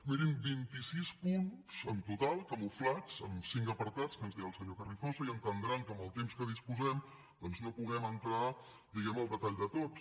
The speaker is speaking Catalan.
mirin vint i sis punts en total camuflats en cinc apartats que ens dirà el senyor carrizosa i entendran que amb el temps que disposem doncs no puguem entrar diguem ne al detall de tots